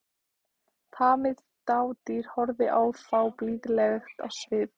Tamið dádýr horfði á þá blíðlegt á svip.